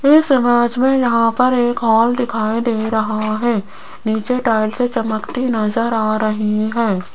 इस समाज में यहां पर एक हॉल दिखाई दे रहा है नीचे टाइल्सें चमकती नजर आ रही हैं।